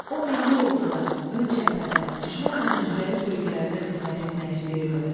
O milli orduda, ön cəbhədə, düşmənlə üzbəüz bölgələrdə xidmət etmək istəyirdi.